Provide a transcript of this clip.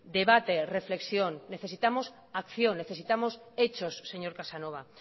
debate reflexión necesitamos acción necesitamos hechos señor casanova